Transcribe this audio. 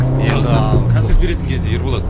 енді ааа концерт беретін кезде ерболат